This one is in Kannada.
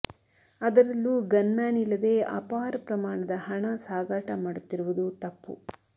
ಅದರಲ್ಲೂ ಗನ್ ಮ್ಯಾನ್ ಇಲ್ಲದೆ ಅಪಾರ ಪ್ರಮಾಣದ ಹಣ ಸಾಗಾಟ ಮಾಡುತ್ತಿರುವುದು ತಪ್ಪು